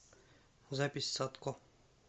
запись садко